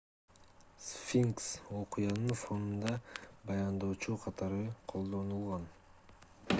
сфинкс окуянын фонунда баяндоочу катары колдонулган